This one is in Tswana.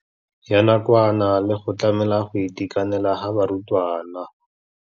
Ya nakwana le go tlamela go itekanela ga barutwana.